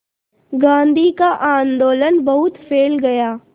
गांधी का आंदोलन बहुत फैल गया